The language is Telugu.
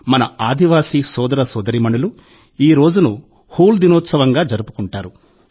మన ఆదివాసీ సోదర సోదరీమణులు ఈ రోజును 'హూల్ దినోత్సవం'గా జరుపుకుంటారు